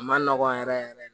A ma nɔgɔ yɛrɛ yɛrɛ yɛrɛ de